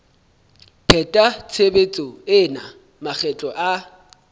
pheta tshebetso ena makgetlo a